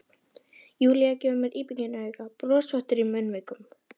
Júlía gefur mér íbyggin auga, brosvottur í munnvikunum.